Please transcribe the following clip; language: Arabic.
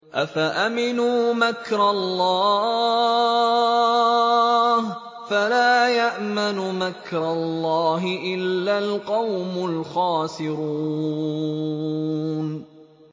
أَفَأَمِنُوا مَكْرَ اللَّهِ ۚ فَلَا يَأْمَنُ مَكْرَ اللَّهِ إِلَّا الْقَوْمُ الْخَاسِرُونَ